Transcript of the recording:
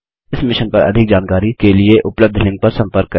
इस मिशन पर अधिक जानकारी के लिए उपलब्ध लिंक पर संपर्क करें